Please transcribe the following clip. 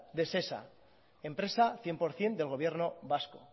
de shesa empresa cien por ciento del gobierno vasco